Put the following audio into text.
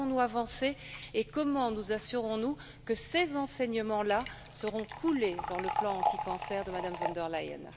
Avons nous avancé et comment nous assurons nous que ces enseignements là seront coulés dans le plan anticancer de Madame von der Leyen?